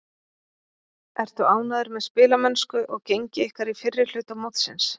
Ertu ánægður með spilamennsku og gengi ykkar í fyrri hluta mótsins?